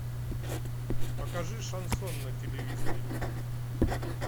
покажи шансон на телевизоре